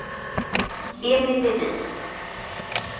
Emil Levin